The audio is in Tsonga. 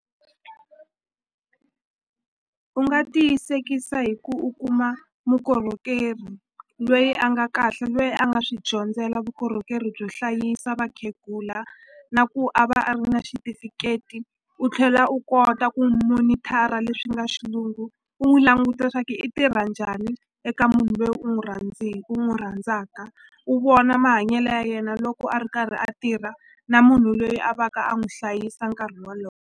U nga tiyisekisa hi ku u kuma mukorhokeri lweyi a nga kahle lweyi a nga swi dyondzela vukorhokeri byo hlayisa vakhegula na ku a va a ri na xitifiketi u tlhela u kota ku monitor-a leswi nga xilungu u n'wi languta swa ku i tirha njhani eka munhu lweyi u n'wi i n'wi rhandzaka u vona mahanyelo ya yena loko a ri karhi a tirha na munhu loyi a va ka a n'wi hlayisa nkarhi .